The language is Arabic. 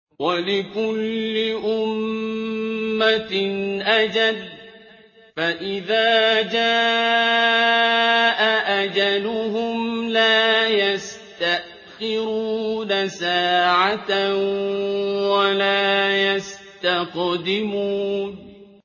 وَلِكُلِّ أُمَّةٍ أَجَلٌ ۖ فَإِذَا جَاءَ أَجَلُهُمْ لَا يَسْتَأْخِرُونَ سَاعَةً ۖ وَلَا يَسْتَقْدِمُونَ